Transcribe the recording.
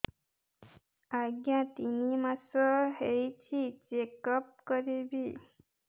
ଆଜ୍ଞା ତିନି ମାସ ହେଇଛି ଚେକ ଅପ କରିବି